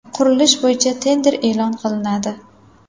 Qurilish bo‘yicha tender e’lon qilinadi.